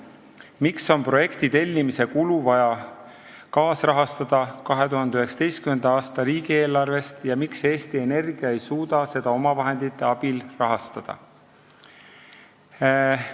Miks on projekti tellimise kulu vaja kaasrahastada 2019. aasta riigieelarvest ja miks Eesti Energia ei suuda seda omavahendite abil rahastada?